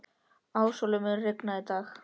Ásólfur, mun rigna í dag?